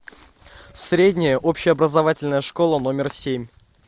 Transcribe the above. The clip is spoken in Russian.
средняя общеобразовательная школа номер семь